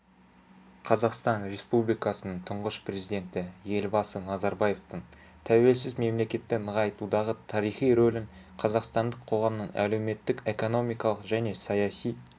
қазақстан республикасының тұңғыш президенті елбасы назарбаевтың тәуелсіз мемлекетті нығайтудағы тарихи рөлін қазақстандық қоғамның әлеуметтік-экономикалық және саяси